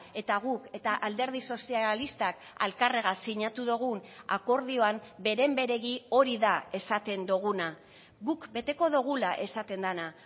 eta guk eta alderdi sozialistak elkarregaz sinatu dugun akordioan beren beregi hori da esaten duguna guk beteko dugula esaten dena